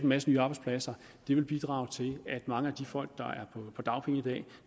masse nye arbejdspladser vil bidrage til at mange af de folk der er på dagpenge i dag